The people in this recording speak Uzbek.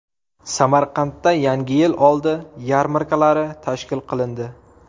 Samarqandda Yangi yil oldi yarmarkalari tashkil qilindi.